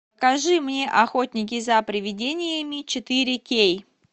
покажи мне охотники за привидениями четыре кей